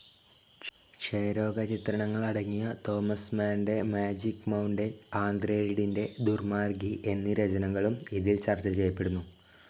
ക്ഷയയരോഗചിത്രണങ്ങൾ അടങ്ങിയ തോമസ് മാൻ്റെ magic mountain, Andre ഴീടിൻ്റെ ദുർമാർഗി എന്നീ രചനകളും ഇതിൽ ചർച്ച ചെയ്യപ്പെടുന്നു.